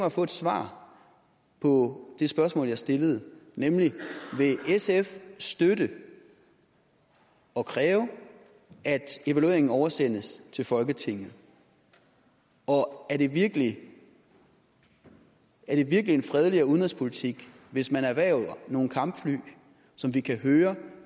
at få et svar på det spørgsmål jeg stillede nemlig vil sf støtte og kræve at evalueringen oversendes til folketinget og er det virkelig en virkelig en fredeligere udenrigspolitik hvis man erhverver nogle kampfly som vi kan høre